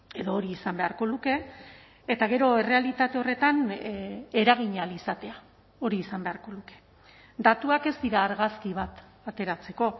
edo hori izan beharko luke eta gero errealitate horretan eragin ahal izatea hori izan beharko luke datuak ez dira argazki bat ateratzeko